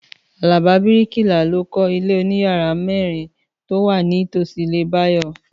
Àlàbá bíríkìlà ló kọ ilé oníyàrá mẹ́rin tó wà ní tòsí ilé Báyọ̀